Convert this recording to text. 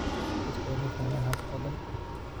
Dadku waa inay fahmaan habka oo dhan.